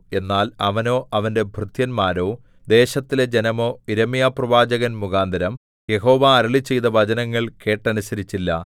എന്നാൽ അവനോ അവന്റെ ഭൃത്യന്മാരോ ദേശത്തിലെ ജനമോ യിരെമ്യാപ്രവാചകൻ മുഖാന്തരം യഹോവ അരുളിച്ചെയ്ത വചനങ്ങൾ കേട്ടനുസരിച്ചില്ല